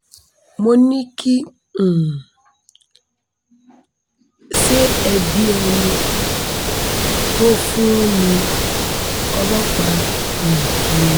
mo ní kì um í ṣe ẹbí ẹ̀ ẹni tó fún un ní ọlọ́pàá um ni